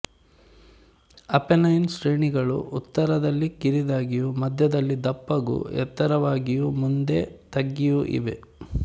Apennine ಶ್ರೇಣಿಗಳು ಉತ್ತರದಲ್ಲಿ ಕಿರಿದಾಗಿಯೂ ಮಧ್ಯದಲ್ಲಿ ದಪ್ಪಗೂ ಎತ್ತರವಾಗಿಯೂ ಮುಂದೆ ತಗ್ಗಿಯೂ ಇವೆ